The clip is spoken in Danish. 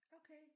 Okay